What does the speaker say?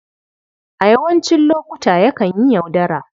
A yawancin lokuta, yakan yi yaudara.